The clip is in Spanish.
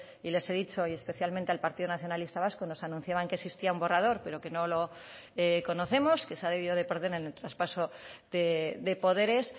y les he dicho y especialmente al partido nacionalista vasco nos anunciaban que existía un borrador pero que no lo conocemos que se ha debido de perder en el traspaso de poderes